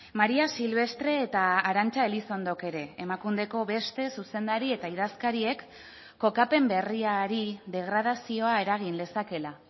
maría silvestre eta arantxa elizondok ere emakundeko beste zuzendari eta idazkariek kokapen berriari degradazioa eragin lezakeela